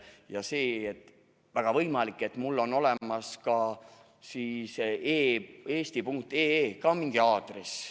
Ja väga võimalik, et mul on olemas ka eesti.ee mingi aadress.